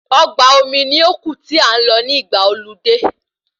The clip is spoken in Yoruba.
Ọgbà omi ní ó kù tí a n lọ ní ìgbà ọludé